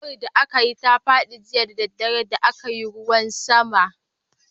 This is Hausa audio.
Sassaƙar da aka yi ta fadi jiya da daddare da a kayi ruwan sama.